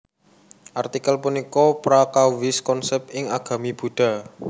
Artikel punika prakawis konsèp ing agami Buddha